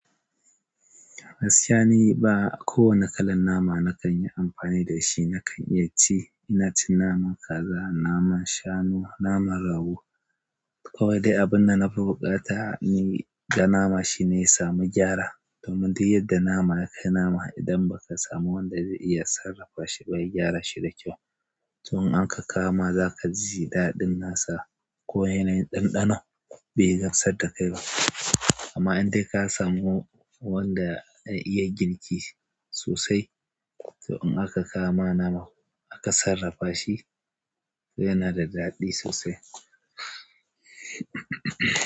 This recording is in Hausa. Gaskiya ne ba ko wanne kalan nama na kan yi amfani da shi. Na kan iya ci, ina cin naman kaza, naman shanu, naman rago. Kawai dai abun da na fi buƙata ni in ga nama shine ya samu gyara. Domin duk yadda nama yakai nama idan ba ka samu wanda zai iya sarrafa shi bai gyara shi da kyau, to in an ka kama za ka ji daɗin nasa. Ko yanayin ɗanɗanon be gamsar dakai ba amma indai kasamu wanda ya iya girki sosai to in aka kawo ma naman aka sarrafa shi yana da daɗi sosai.